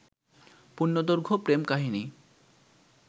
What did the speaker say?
পূর্ণদৈর্ঘ্য প্রেম কাহিনী